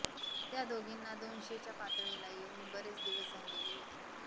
त्या दोघींना दोनशेच्या पातळीला येऊन बरेच दिवस झालेले होते